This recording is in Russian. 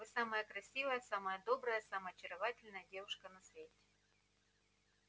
вы самая красивая самая добрая самая очаровательная девушка на свете